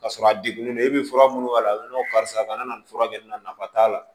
Ka sɔrɔ a degunnen e be fura minnu k'a la karisa kana nin fura kɛ nin na nafa t'a la